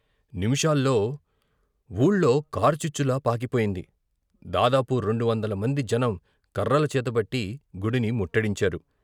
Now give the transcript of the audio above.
నిమిషాల్లో ఊళ్లో కారు చిచ్చులా పాకిపోయింది, దాదాపు రెండు వందల మంది జనం కర్రలు చేతబట్టి గుడిని ముట్టడించారు.